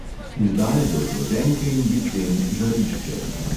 Izdajajo zloženke in bilten žarišče.